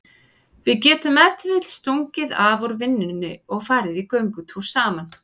Við getum ef til vill stungið af úr vinnunni og farið í göngutúr saman.